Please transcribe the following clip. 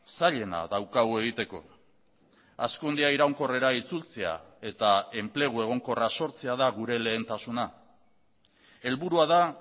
zailena daukagu egiteko hazkundea iraunkorrera itzultzea eta enplegu egonkorra sortzea da gure lehentasuna helburua da